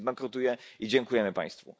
Socjalizm bankrutuje i dziękujemy Państwu.